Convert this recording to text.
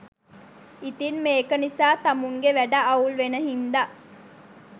ඉතිං මේක නිසා තමුන්ගෙ වැඩ අවුල් වෙන හින්දා